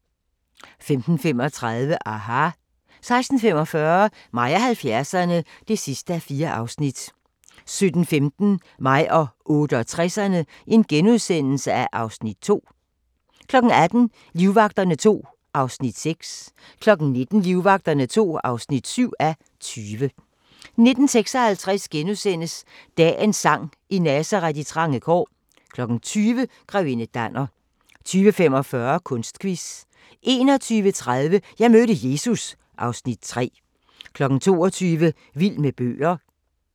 15:35: aHA! 16:45: Mig og 70'erne (4:4) 17:15: Mig og 68'erne (Afs. 2)* 18:00: Livvagterne II (6:20) 19:00: Livvagterne II (7:20) 19:56: Dagens sang: I Nazaret, i trange kår * 20:00: Grevinde Danner 20:45: Kunstquiz 21:30: Jeg mødte Jesus (Afs. 3) 22:00: Vild med bøger